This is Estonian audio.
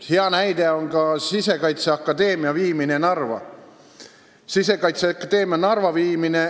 " Hea näide on ka Sisekaitseakadeemia viimine Narva.